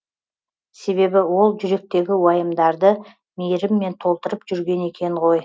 себебі ол жүректегі уайымдарды мейіріммен толтырып жүрген екен ғой